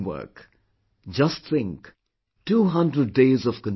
Just think Twohundreddays of continuous labour